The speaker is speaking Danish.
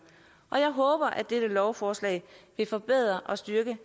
og jeg håber at dette lovforslag vil forbedre og styrke